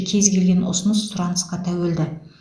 кез келген ұсыныс сұранысқа тәуелді